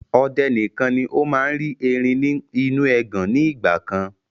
Ọdẹ nìkan ni ó máa ń rí erin ni inu ẹgàn ni ìgbàkan